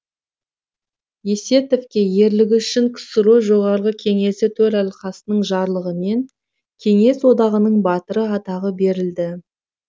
есетовке ерлігі үшін ксро жоғарғы кеңесі төралқасының жарлығымен кеңес одағының батыры атағы берілді